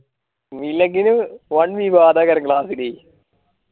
നീ ഇല്ലെങ്കിലു വാൻ വിവാദയാണ് class ഇല്